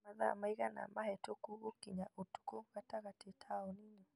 Nĩ mathaa maigana mahĩtũku gũkinya ũtukũ gatagatĩ taũni-inĩ